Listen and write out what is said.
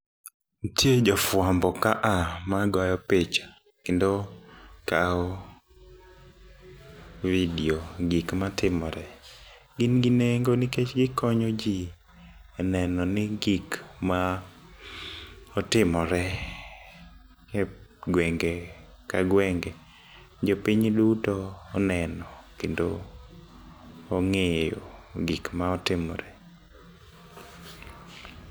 Ntie jofwambo kaa magoyo picha kendo kao video gik matimore. gin gi nengo nikeh gikonyo jii neno ni gik maotimore e gwenge ka gwenge jopiny duto oneno kendo ongeyo gik maotimore